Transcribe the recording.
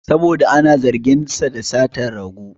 Saboda ana zargin sa da satan rago